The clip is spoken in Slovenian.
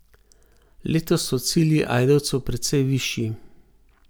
Letos so cilji Ajdovcev precej višji.